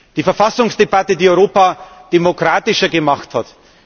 Die Verfassungsdebatte, die Europa demokratischer gemacht hat.